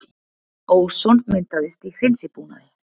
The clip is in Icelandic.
Óson myndaðist í hreinsibúnaði